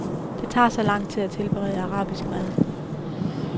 Det tager så lang tid at tilberede arabisk mad.